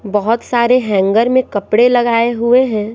बहुत सारे हैंगर में कपड़े लगाए हुए हैं।